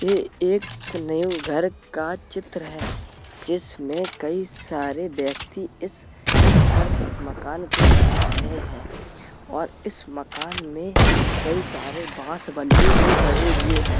एक न्यू घर का चित्र है । जिसमे कई सारे व्यक्ति इस घर मकान को बना रहे है और इस मकान मे कई सारे बांस बल्ली भी गड़े हुए हैं ।